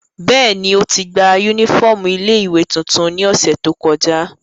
Bẹ́ẹ̀ni, oti gba unifọmú ile-iwe tuntun ni ọsẹ to kọja.